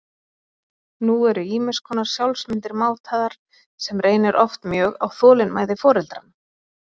Nú eru ýmis konar sjálfsmyndir mátaðar, sem reynir oft mjög á þolinmæði foreldranna.